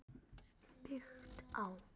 Byggt á